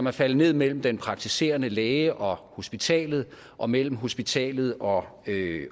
er faldet ned mellem den praktiserende læge og hospitalet og mellem hospitalet og